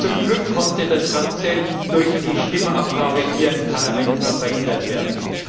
Zum Glück konnte das Ganze durch die Stimmabgabe hier im Parlament noch verhindert werden.